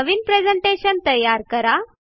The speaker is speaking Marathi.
नवीन प्रेझेंटेशन तयार करा